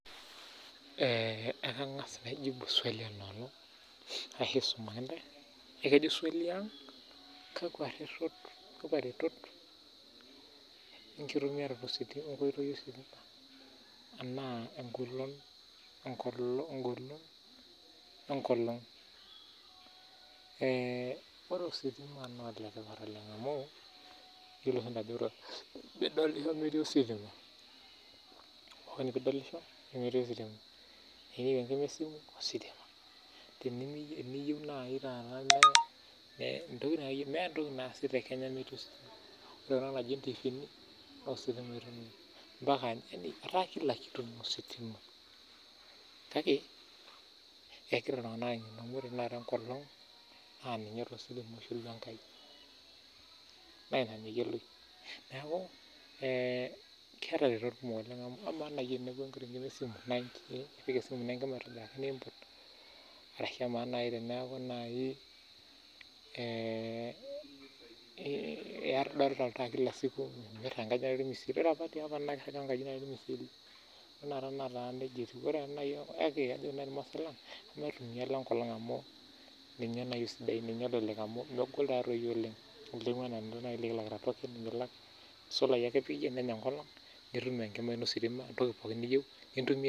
Ore ositima naa oletipat oleng amuu iyiololo siintae ajo midolisho metii ositima tenimiyieu enkimismis ositima temimiyieu meeta entoki naasi metii ositima Etaa pookitoki naa ositima kake ekegora oltungana ang'enu amu ore tenakata enkolong naa ninye etumieki naa ina meyioloi neaku keeta iretot kumok oleng amu ipik esimu ino enkima aitobiraki niimput ashu ee teniaku idolita oltaa anaake naa ore apa naaketii opa olmisil ore tenakata netaa nijia etiu kake ore ilmaasai lang naa emaitumia enkolong amubninye nalelek oleng' nemelaki token amu isolayi ake nitum enkima ino ositima